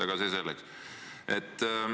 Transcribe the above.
Aga see selleks.